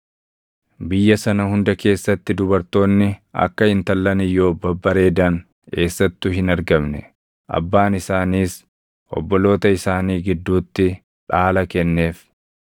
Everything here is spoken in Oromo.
Biyya sana hunda keessatti dubartoonni akka intallan Iyyoob babbareedan eessattuu hin argamne. Abbaan isaaniis obboloota isaanii gidduutti dhaala kenneef.